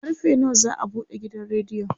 karfe nawa za'a buɗe gidan rediyon?